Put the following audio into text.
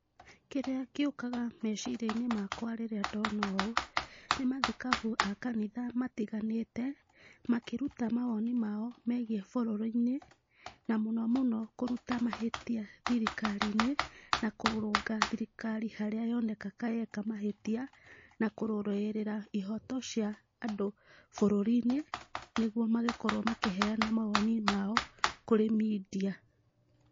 Kĩrĩa gĩũkaga meciria-inĩ makwa rĩrĩa ndona ũũ, nĩ mathikabu a kanitha matĩganĩte makĩruta mawoni mao megiĩ bũrũri-inĩ na mũno mũno kũruta mahĩtia thirikari-inĩ na kũrũnga thirikari harĩa yoneka kayeka mahĩtia na kũrũwĩrĩra ihoto cĩa andũ bũrũri-inĩ nĩguo magĩkorwo makĩheana mawoni mao kũrĩ media.